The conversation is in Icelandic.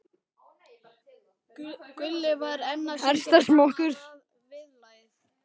Gulli var enn að syngja sama viðlagið.